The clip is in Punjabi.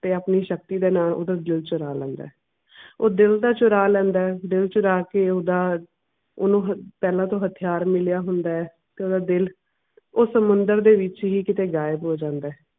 ਤੇ ਆਪਣੇ ਸ਼ਕਤੀ ਦਾ ਨਾਮ ਓਹਦੇ ਦਿਲ ਚੁਰਾ ਲੈਂਦਾ ਹੈ ਉਹ ਦਿਲ ਤਾਂ ਚੁਰਾ ਲੈਂਦਾ ਹੈ ਦਿਲ ਚੁਰਾ ਕੇ ਤਾਂ ਓਹਨੂੰ ਹਾਂ ਪਹਿਲਾਂ ਤੋਂ ਹਥਿਆਰ ਮਿਲਿਆ ਹੁੰਦਾ ਐ ਤੇ ਓਹਦਾ ਦਿਲ ਉਸ ਮੰਦਿਰ ਦੇ ਵਿਚ ਹੀ ਗਾਇਬ ਹੋ ਜਾਂਦਾ ਹੈ